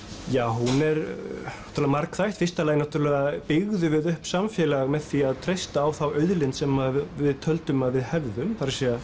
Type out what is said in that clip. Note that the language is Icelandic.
hún er náttúrulega margþætt í fyrsta lagi náttúrulega byggðum við upp samfélag með því að treysta á þá auðlind sem við töldum að við hefðum það er